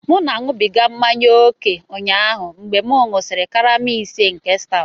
M na-aṅụbiga mmanya ókè ụnyaahụ mgbe m ṅụsịrị karama ise nke stout